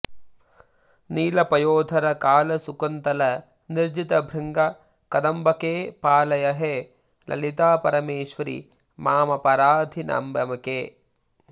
नीलपयोधर कालसुकुन्तल निर्जितभृङ्ग कदम्बके पालय हे ललितापरमेश्वरि मामपराधिनमम्बिके